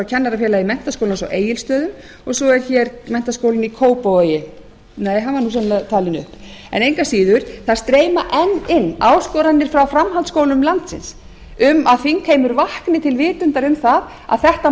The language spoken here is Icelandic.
kennarafélagi menntaskólans á egilsstöðum svo er menntaskólinn í kópavogi nei hann var nú sennilega talinn upp en engu að síður það streyma enn inn áskoranir frá framhaldsskólum landsins um það að þingheimur vakni til vitundar um að þetta mál